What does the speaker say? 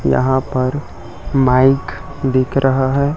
यहां पर माइक दिख रहा है।